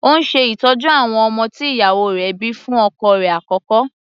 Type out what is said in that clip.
Ó ń ṣe ìtọ́jú àwọn ọmọ tí ìyàwó rẹ̀ bíi fún ọkọ rẹ̀ àkọ́kọ́.